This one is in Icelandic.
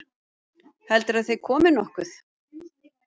Heldurðu að þeir komi nokkuð?